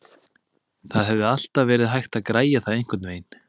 Það hefði alltaf verið hægt að græja það einhvernveginn.